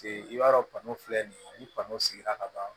I b'a dɔn filɛ nin ye ni kɔnɔ sigira ka ban